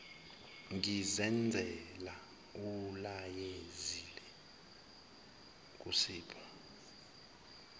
ngizenzela ulayezile kusipho